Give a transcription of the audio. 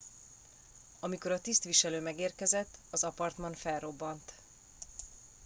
amikor a tisztviselő megérkezett az apartman felrobbant